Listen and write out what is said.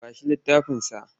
Ba shi littafinsa!